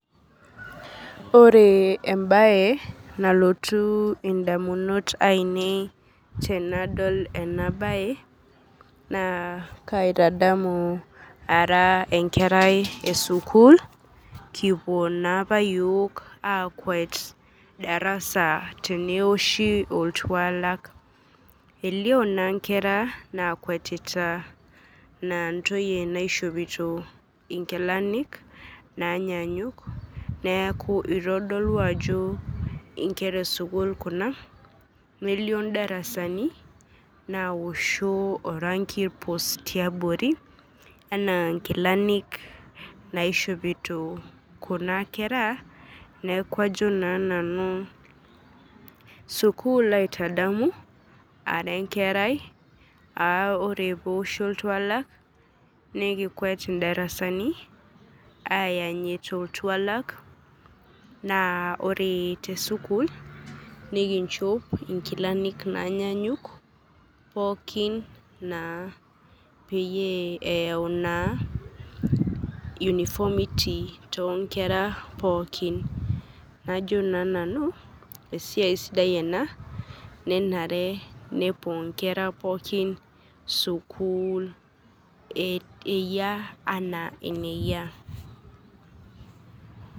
ore embae nalotu indamut ainei tenadol ena bae na kaitadamu, ara enkerai esukul kipuo na apa yiok akwet darasa teneoshi oltualak elio na inkera nakwetita a ntoyie naishopito inkilani nanyanyuk niaku itodolu ajo inkera esukul kuna, nelio indarasani naosho orangi pus tiabori ena inkilanik naishopito kuna kera, niaku ajo na nanu sukul aitadamu ara enkerai aa ore pe oshi oltuala nikikwet indarasani ayanyit oltualak, na ore tesukul nikinchop inkilani nanyanyuk, pooki na peyie eyau na uniformity to nkera pooki najo na nanu, esiai sidai ena nenare pepuo inkera pooki sukul eyia ena eneyia.